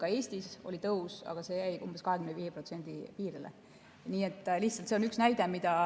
Ka Eestis oli tõus, aga see jäi umbes 25% piirile.